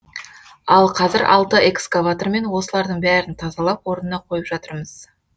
ал қазір алты экскаватормен осылардың бәрін тазалап орнына қойып жатырмыз